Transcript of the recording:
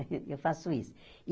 Eu faço isso.